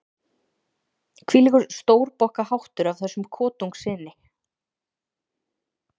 Hvílíkur stórbokkaháttur af þessum kotungssyni!